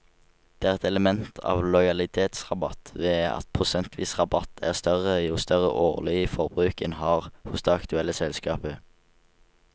Det er et element av lojalitetsrabatt ved at prosentvis rabatt er større jo større årlig forbruk en har hos det aktuelle selskapet.